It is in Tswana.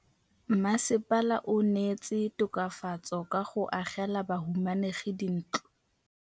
Mmasepala o neetse tokafatsô ka go agela bahumanegi dintlo.